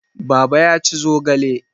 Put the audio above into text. Baba ya ci zogale.